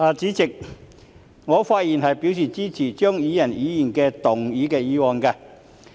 代理主席，我發言支持張宇人議員的議案。